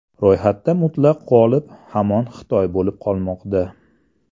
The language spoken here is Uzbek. Ro‘yxatda mutlaq g‘olib hamon Xitoy bo‘lib qolmoqda.